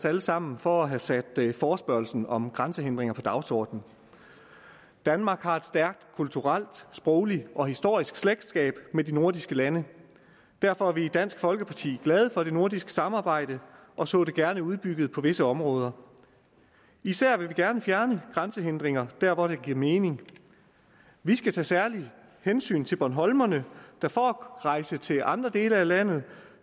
alle sammen for at have sat forespørgslen om grænsehindringer på dagsordenen danmark har et stærkt kulturelt sprogligt og historisk slægtskab med de nordiske lande derfor er vi i dansk folkeparti glade for det nordiske samarbejde og så det gerne udbygget på visse områder og især vil vi gerne fjerne grænsehindringer der hvor det giver mening vi skal tage særlige hensyn til bornholmerne der for at rejse til andre dele af landet